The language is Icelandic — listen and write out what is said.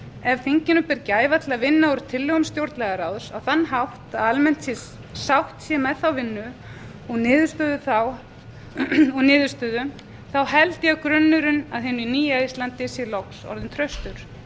ef þingið ber gæfu til að vinna úr tillögum stjórnlagaráðs á þann hátt að almenn sátt sé með þá vinnu og niðurstöðu held ég að grunnurinn að hinu nýja íslandi sé loks orðinn traustur